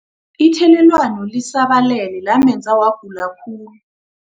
Ithelelwano lisabalele lamenza wagula khulu.